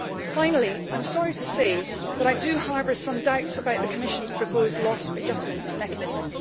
Finally, I am sorry to say that I do harbour some doubts about the Commission's proposed loss adjustment mechanism.